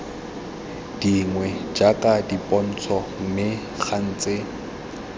dingwe jaaka dipontsho mme gantsi